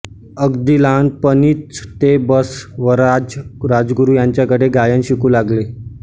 अगदी लहानपणीच ते बसवराज राजगुरू यांच्याकडे गायन शिकू लागले